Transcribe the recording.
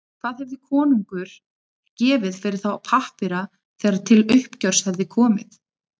Hvað hefði konungur gefið fyrir þá pappíra þegar til uppgjörs hefði komið?